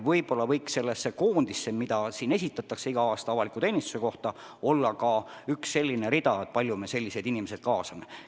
Võib-olla võiks selles koondis, mis siin igal aastal avaliku teenistuse kohta esitatakse, olla ka rida, kust näeb, kui palju me selliseid inimesi kaasame.